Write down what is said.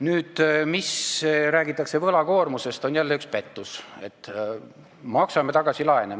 Nüüd see, mida räägitakse võlakoormusest, on jälle üks pettus: maksame tagasi laene.